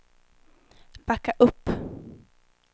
backa upp